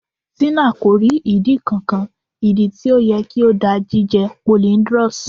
Tina ko ri idi kankan. idi ti o yẹ ki o da jije polyndrous